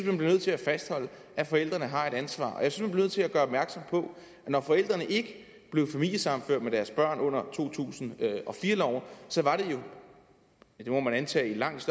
man bliver nødt til at fastholde at forældrene har et ansvar og jeg synes nødt til at gøre opmærksom på at når forældrene ikke blev familiesammenført med deres børn under to tusind og fire loven var det jo ja det må man antage i langt